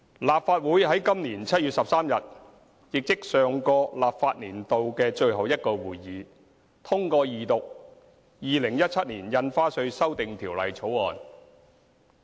立法會於今年7月13日，亦即上個立法年度的最後一個會議，通過二讀《2017年印花稅條例草案》。